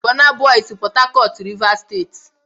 Bọna bọy sị Pọta Cọt, Rịvas Steeti